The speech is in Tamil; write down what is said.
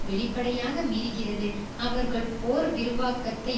வெளிப்படையாக மீறுகிறது அவர்கள் போர் விரிவாக்கத்தை